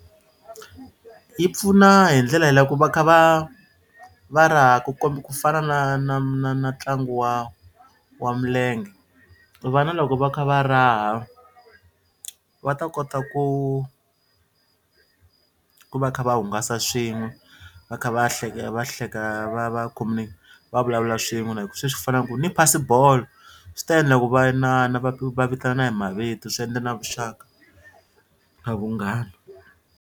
Yi pfuna hi ndlela leyi loko va kha va va raha ku ku fana na na na na ntlangu wa wa milenge vana loko va kha va raha va ta kota ku ku va kha va hungasa swin'we va kha va va hleka va va va vulavula swin'we swi fana na ku ni phasi bolo swi ta endla ku va inana va vitana hi mavito swi endla na vuxaka na vunghana.